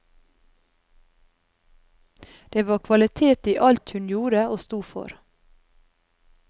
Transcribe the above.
Det var kvalitet i alt hun gjorde og sto for.